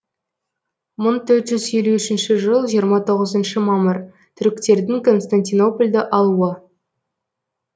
мың төрт жүз елу үшінші жыл жиырма тоғызыншы мамыр түріктердің констатинопольді алуы